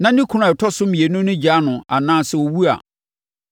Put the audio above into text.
na ne kunu a ɔtɔ so mmienu no gyaa no anaa sɛ ɔwu a,